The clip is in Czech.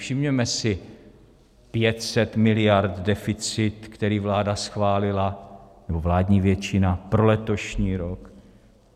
Všimněme si: 500 miliard deficit, který vláda schválila, nebo vládní většina, pro letošní rok.